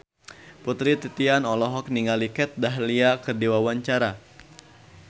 Putri Titian olohok ningali Kat Dahlia keur diwawancara